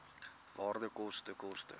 waarde koste koste